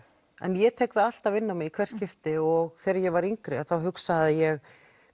en ég tek það alltaf inn á mig í hvert skipti og þegar ég var yngri þá hugsaði ég